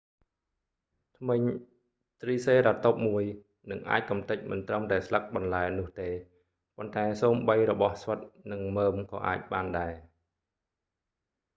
ធ្មេញtriceratopsមួយ នឹងអាចកំទេចមិនត្រឹមតែស្លឹកបន្លែនោះទេប៉ុន្តែសូម្បីរបស់ស្វិតនិងមើមក៏អាចបានដែរ។